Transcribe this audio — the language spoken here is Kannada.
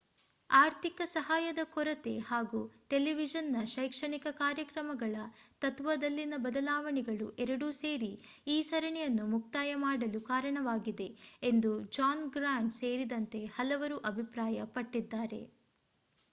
ಆರ್ಥಿಕ ಸಹಾಯದ ಕೊರತೆ ಹಾಗೂ ಟೆಲಿವಿಷನ್ ನ ಶೈಕ್ಷಣಿಕ ಕಾರ್ಯಕ್ರಮಗಳ ತತ್ತ್ವದಲ್ಲಿನ ಬದಲಾವಣೆಗಳು ಎರಡೂ ಸೇರಿ ಈ ಸರಣಿಯನ್ನು ಮುಕ್ತಾಯ ಮಾಡಲು ಕಾರಣವಾಗಿದೆ ಎಂದು ಜಾನ್ ಗ್ರಾಂಟ್ ಸೇರಿದಂತೆ ಹಲವರು ಅಭಿಪ್ರಾಯ ಪಟ್ಟಿದ್ದಾರೆ